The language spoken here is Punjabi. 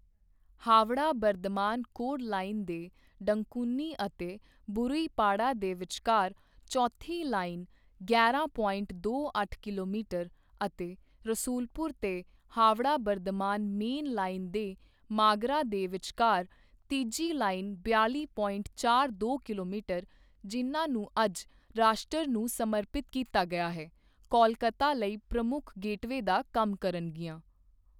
ਹਾਵੜਾ ਬਰਧਮਾਨ ਕੌਰਡ ਲਾਈਨ ਦੇ ਡੰਕੁਨੀ ਅਤੇ ਬਰੂਈਪਾੜਾ ਦੇ ਵਿਚਕਾਰ ਚੌਥੀ ਲਾਈਨ ਗਿਆਰਾਂ ਪੋਇੰਟ ਦੋ ਅੱਠ ਕਿਲੋਮੀਟਰ ਅਤੇ ਰਸੂਲਪੁਰ ਤੇ ਹਾਵੜਾ ਬਰਧਮਾਨ ਮੇਨ ਲਾਈਨ ਦੇ ਮਾਗਰਾ ਦੇ ਵਿਚਕਾਰ ਤੀਜੀ ਲਾਈਨ ਬਿਆਲੀ ਪੋਇੰਟ ਚਾਰ ਦੋ ਕਿਲੋਮੀਟਰ, ਜਿਨ੍ਹਾਂ ਨੂੰ ਅੱਜ ਰਾਸ਼ਟਰ ਨੂੰ ਸਮਰਪਿਤ ਕੀਤਾ ਗਿਆ ਹੈ ਕੋਲਕਾਤਾ ਲਈ ਪ੍ਰਮੁੱਖ ਗੇਟਵੇਅ ਦਾ ਕੰਮ ਕਰਨਗੀਆਂ।